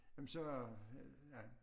Jamen så ja